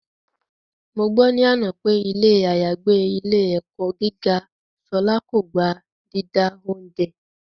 Mo gbọ́ ní àná pé ilé àyágbé ilé - ẹ̀kọ́ gíga Ṣọlá kò gba dídá oúnjẹ